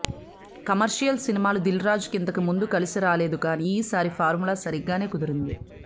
commercial సినిమాలు దిల్ రాజుకి ఇంతకుముందు కలిసి రాలేదు కానీ ఈసారి ఫార్ములా సరిగ్గానే కుదిరింది